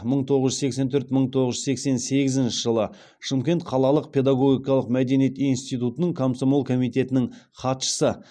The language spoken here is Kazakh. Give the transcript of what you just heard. мың тоғыз жүз сексен төрт мың тоғыз жүз сексен сегізінші жылы шымкент қалалық педагогикалық мәдениет институтының комсомол комитетінің хатшысы